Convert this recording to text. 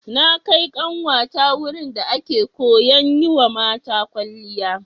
Na kai ƙanwata wurin da ake koyan yiwa mata kwalliya.